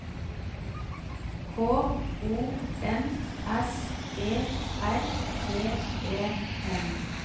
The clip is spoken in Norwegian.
K O N S E R T E N